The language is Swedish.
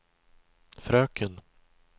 fröken